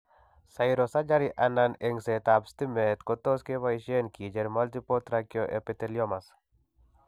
Cryosurgery anan engsetab stimet kotos kebaysen kicheer multiple trichoepitheliomas.